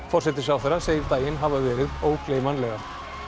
forsætisráðherra segir daginn hafa verið ógleymanlegan